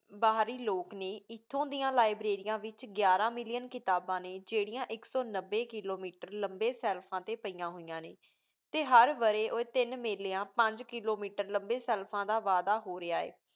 ਬਹਿਰੀ ਲੋਕ ਨੀ ਇਤਹੁ ਡਿਯਨ ਲਿਬ੍ਰਾਰੀਆਂ ਵਿਚ ਗਿਯਰ million ਕਿਤਾਬਾਂ ਨੀ ਜੇਰਿਯਾਂ ਆਇਕ ਸੋ ਨਵੀ million ਲੰਬੀ ਸ਼ੇਲ੍ਵਾਂ ਟੀ ਪਾਯਾ ਹੋਯਾਂ ਨੀ ਟੀ ਹਰ ਵਾਰੀ ਓਹ ਤੀਨ ਮੇਲ੍ਯਾਂ ਪੰਜ million ਲੰਬੀ ਸ਼ੇਲ੍ਵਾਂ ਦਾ ਵਾਦਾ ਹੋ ਰਿਯ ਹੈ